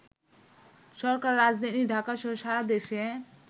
সরকার রাজধানী ঢাকাসহ সারাদেশে